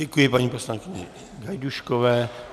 Děkuji paní poslankyni Gajdůškové.